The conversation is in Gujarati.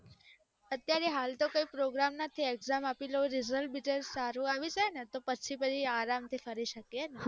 અત્યારે હાલ તો કોઈ programme નથી exam આપી લઉં result સારું આવીજી ને પછી અરમ્થ ફરી શકીએ ને